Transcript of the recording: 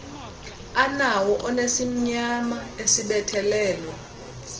anawo onesimnyama esibethelelwe